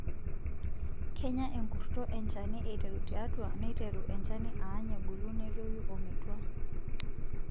Kenya enkurto enchani aiteru tiiatu neiteru enchani aany ebulu netoyu ometwa.